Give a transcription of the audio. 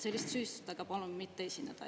Selliste süüdistustega palun mitte esineda.